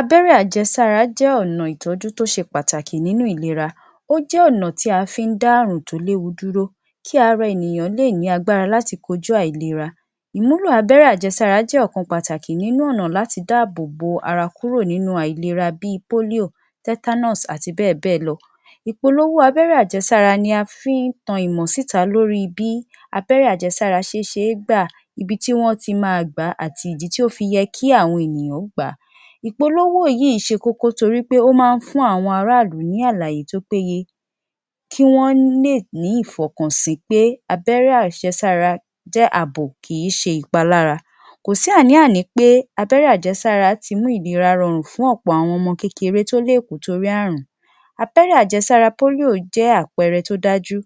Abẹ́rẹ́ ajẹsára jẹ́ ọ̀nà ìtọ́jú tó ṣe pàtàkì nínú ìlera. Ó jẹ́ ọ̀nà tí a fí ń dá àrùn tó léwu dúró kí ara ènìyàn lè ní agbára láti kojú àìlera. Ìmúlò abẹ́rẹ́ ajẹsára jẹ́ ọ̀kan pàtàkì nínú ọ̀nà láti dáàbòbo ara kúrò nínú àìlera bí i polio tetanus àti bẹ́ẹ̀bẹ́ẹ̀ lọ. Ìpolówó abẹ́rẹ́ ajẹsára ni a fí ń tan ìmọ̀ síta lórí bí abẹ́rẹ́ ajẹsára ṣe ṣeé gbà, ibi tí wọ́n ti máa gbàá, àti ìdí tó fi yẹ kí àwọn ènìyàn gbàá. Ìpolówó yìí ṣe kókó torípé ó máa ń fún àwọn ará ìlú ní àlàyé tó péye kí wọ́n lè ní ìfọkànsìn pé abẹ́rẹ́ ajẹsára jẹ́ àbò, kìí ṣe ìpalára. Kò sí àní-àní pé abẹ́rẹ́ ajẹsára tí mú ìlera rọrùn fún ọ̀pọ̀ àwọn ọmọ kékeré tó lè kú torí àrùn. Abẹ́rẹ́ ajẹsára polio jẹ́ àpẹẹrẹ tó dájú.